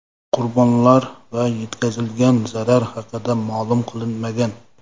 Qurbonlar va yetkazilgan zarar haqida ma’lum qilinmagan.